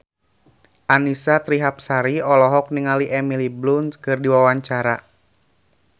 Annisa Trihapsari olohok ningali Emily Blunt keur diwawancara